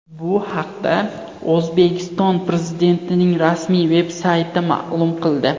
Bu haqda O‘zbekiston Prezidentining rasmiy veb-sayti ma’lum qildi .